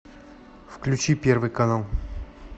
включи первый канал